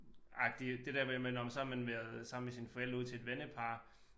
Agtig det der med men nåh men så har man været sammen med sine forældre ud til et vennepar